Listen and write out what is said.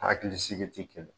Hakili sigi ti kelen ye